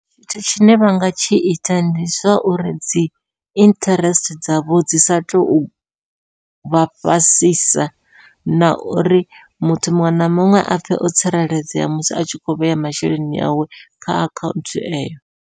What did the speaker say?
Tshithu tshine vha nga tshi ita ndi zwa uri dzi interest dzavho dzi sa tuvha fhasisa, na uri muthu muṅwe na muṅwe apfhe o tsireledzea musi atshi kho vhea masheleni awe kha akhaunthu eyo.